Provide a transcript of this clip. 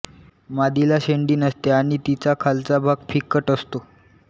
मादीला शेंडी नसते आणि तिचा खालचा भाग फिक्कट असतो